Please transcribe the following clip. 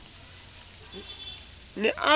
ne a re o a